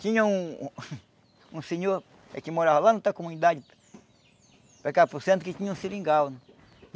Tinha um um senhor que morava lá na outra comunidade, para cá para o centro, que tinha um seringal.